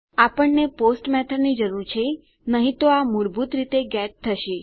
આપણને post method ની જરૂર છે નહી તો આ મૂળભૂત રૂપે ગેટ થશે